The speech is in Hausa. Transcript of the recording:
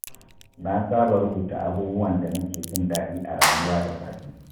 Na saba rubuta abubuwan da nake jin daɗi a rayuwa da safe.